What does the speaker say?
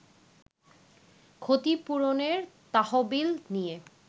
ক্ষতিপূরণের তহবিল নিয়ে